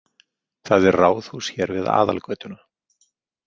Það er ráðhús hér við aðalgötuna.